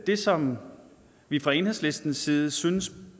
det som vi fra enhedslistens side synes